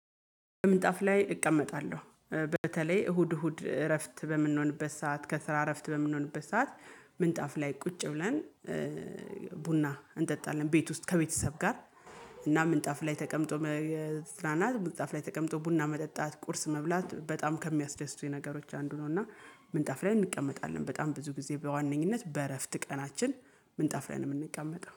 ምንጣፍ ላይ እቀመጣለሁ በተለይ እሁድ እሁድ እረፍት በምንሆንበት ሰዓት ከስራ እረፍት በምንሆንበት ሰዓት ምንጣፍ ላይ ቁጭ ብለን ቡና እንጠጣለን። ቤት ውስጥ ከቤተሰብ ጋር እና ምንጣፍ ላይ ተቀምጦ መዝናናት ምንጣፍ ላይ ተቀምጦ ቡና መጠጣት ቁርስ መብላት በጣም ከሚያስደስቱኝ ነገሮች አንዱ ነውና። ምንጣፍ ላይ እንቀመጣለን በጣም ብዙ ጊዜ በዋነኝነት በእረፍት ቀናችን ምንጣፍ ላይ ነው የምንቀመጠው